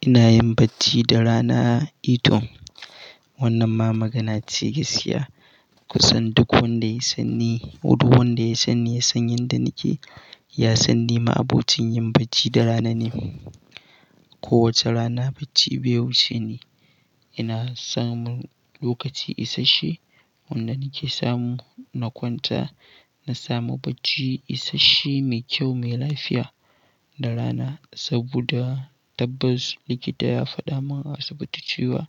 Ina yin bacci da rana. Ito wannan ma magana ce gaskiya. Kusan duk wanda ya sanni, duk wanda ya sanni ya san yanda nake, ya san nima abocin yin bacci da rana ne. Kowace rana bacci bai wuce ni. Ina samun lokaci isasshe wanda nake samu na kwanta, na samu bacci isasshe, mai kyau, mai lafiya da rana. Saboda tabbas likita ya faɗa min a asibiti cewa